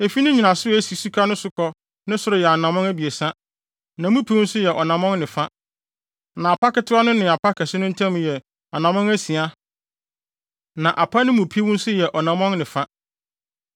Efi ne nnyinaso a esi suka no so kɔ ne soro yɛ anammɔn abiɛsa, na mu piw nso yɛ ɔnammɔn ne fa, na apa ketewa no ne apa kɛse no ntam yɛ anammɔn asia na apa no mu piw nso yɛ ɔnammɔn ne fa.